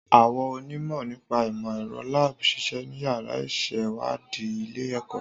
Àwọn onímọ̀ nípa ìmọ̀ ẹ̀rọ lab ń ṣiṣẹ́ ní yàrá ìṣèwádìí ilé-ẹ̀kọ́